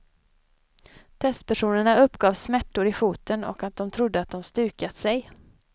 Testpersonerna uppgav smärtor i foten och att de trodde att de stukat sig.